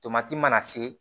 Tomati mana se